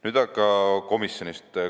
Nüüd aga komisjonis toimunust.